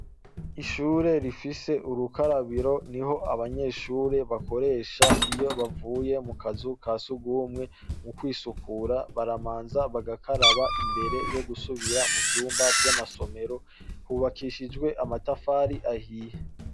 Ishure rifise urukarabiro niho abanyeshure bakoresha iyo bavuye mu kazu ka sugumwe, mu kwisukura baramanza bagakaraba imbere yo gusubira mu vyumba vy'amasomero, hubakishijwe amatafari ahiye.